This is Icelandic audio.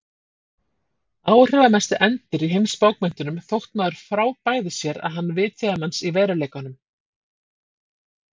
Áhrifamesti endir í heimsbókmenntunum þótt maður frábæði sér að hann vitjaði manns í veruleikanum.